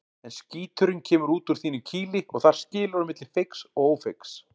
En skíturinn kemur út úr þínu kýli og þar skilur á milli feigs og ófeigs.